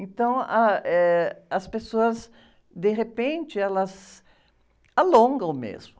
Então, ah, eh, as pessoas, de repente, elas alongam mesmo.